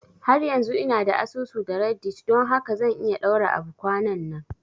Har yanzu ina da asusu da reddit don haka zan iya ɗaura abu kwananan